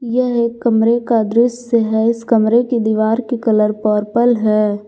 यह एक कमरे का दृश्य है इस कमरे की दीवार की कलर पर्पल है।